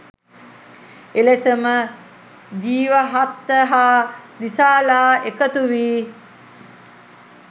එලෙසම ජීවහත්ත හා දිසාලා එකතු වී